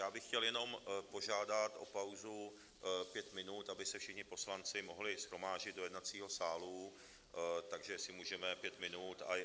Já bych chtěl jenom požádat o pauzu pět minut, aby se všichni poslanci mohli shromáždit do jednacího sálu, takže jestli můžeme pět minut.